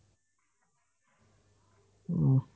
উম